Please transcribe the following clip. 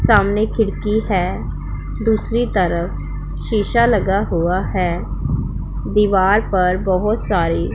सामने खिड़की है दूसरी तरफ शिशा लगा हुआ है दीवार पर बहोत सारी--